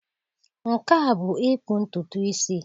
Nke a bụ ịkpụ ntutu isi.